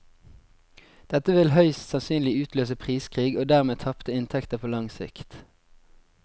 Dette vil høyst sannsynlig utløse priskrig og dermed tapte inntekter på lang sikt.